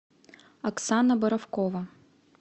оксана боровкова